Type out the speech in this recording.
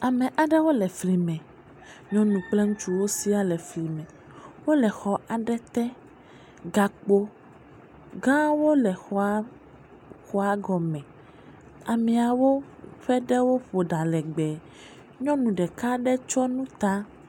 Ame aɖewo le flime, nyɔnu kple ŋutsuwo siaa le flime, wole xɔ aɖe te. Gakpo gãwo le xɔa xɔa gɔme, ameawo ƒe ɖewo ƒo ɖa legbe, nyɔnu ɖeka aɖe tsɔ nu ta.